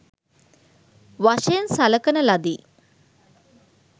වශයෙන් සලකන ලදි.